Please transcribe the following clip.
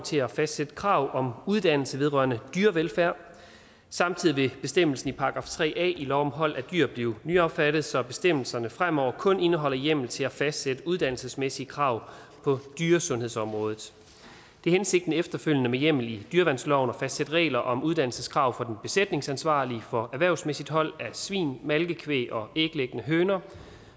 til at fastsætte krav om uddannelse vedrørende dyrevelfærd samtidig vil bestemmelsen i § tre a i lov om hold af dyr blive nyaffattet så bestemmelserne fremover kun indeholder hjemmel til at fastsætte uddannelsesmæssige krav på dyresundhedsområdet det er hensigten efterfølgende med hjemmel i dyreværnsloven at fastsætte regler om uddannelseskrav for den besætningsansvarlige for erhvervsmæssigt hold af svin malkekvæg og æglæggende høner